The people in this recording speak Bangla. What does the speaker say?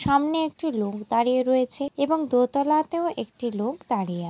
সামনে একটি লোক দাঁড়িয়ে রয়েছে এবং দুতলাতেও একটি লোক দাঁড়িয়ে আছে।